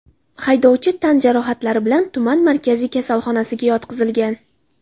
Haydovchi tan jarohatlari bilan tuman markaziy kasalxonasiga yotqizilgan.